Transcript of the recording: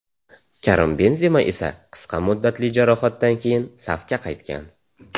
Karim Benzema esa qisqa muddatli jarohatdan keyin safga qaytgan.